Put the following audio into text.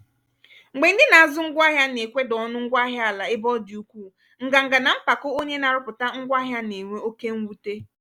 mgbe ndị na-azụ ngwá ahịa na-ekweda ọnụ ngwá ahịa àlà ébé ọ dị ukwuu nganga na mpako onye na-arụpụta ngwá ahịa na-enwe oke nnwute.